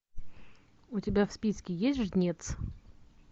у тебя в списке есть жнец